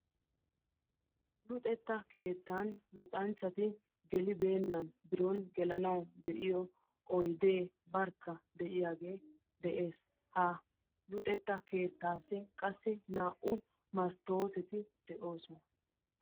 Luxetta keettaan luxxanchchati gelibeenna biron gelanwu de'iyo oydee barkka de'iyagee de'ees, ha luxetta keettaassi qassi naa"u masttooteti de'oosona.